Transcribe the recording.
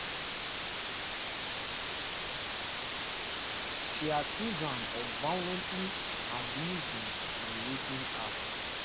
she accuse am of violently abusing and raping her